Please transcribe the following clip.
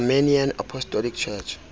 armenian apostolic church